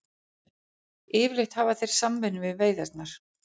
Yfirleitt hafa þeir samvinnu við veiðarnar.